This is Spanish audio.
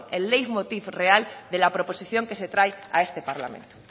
el leitmotiv real de la proposición que se trae a este parlamento